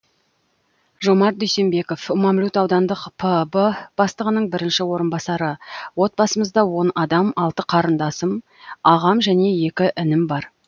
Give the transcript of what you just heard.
жомарт дүйсенбеков мамлют аудандық пб бастығының бірінші орынбасары отбасымызда он адам алты қарындасым ағам және екі інім бар